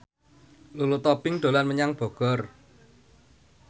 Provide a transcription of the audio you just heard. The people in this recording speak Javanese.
Lulu Tobing dolan menyang Bogor